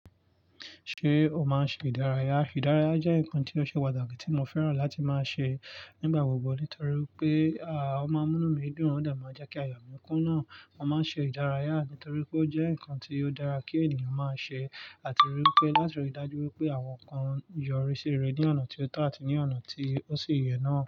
Ṣé o máa ń ṣe ìdárayá? Ìdárayá jẹ́ nǹkan tí ó ṣe pàtàkí tí mo fẹ́ràn láti máa ṣe nígbà gbogbo nítorí pé, à, ó máa ń mú mí dùn, ó dà máa jẹ́ kí àyà mí kún ná. Mo máa ń ṣe ìdárayá nítorí pé ó jẹ́ ǹkan tí ó dára kí ènìyàn máa ṣe àti ríi pé láti rí i dájú pé àwọn nǹkan yọrí sí rẹ̀ ní ọ̀nà tí ó tọ́ àti ní ọ̀nà tí ó sì yẹ náà.